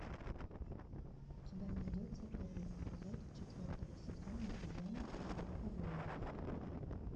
у тебя найдется первый эпизод четвертого сезона зена королева воинов